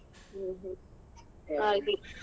ಹ್ಮ್ ಹ್ಮ್ ಹಾಗೆ.